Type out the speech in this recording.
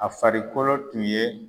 A farikolo tun ye